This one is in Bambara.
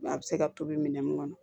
A bɛ se ka tobi minɛn mun kɔnɔ